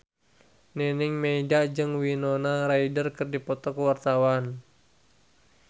Nining Meida jeung Winona Ryder keur dipoto ku wartawan